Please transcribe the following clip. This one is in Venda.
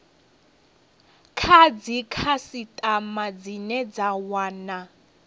kha dzikhasitama dzine dza wana